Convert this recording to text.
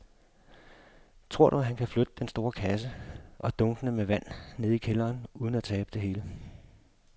Tror du, at han kan flytte den store kasse og dunkene med vand ned i kælderen uden at tabe det hele?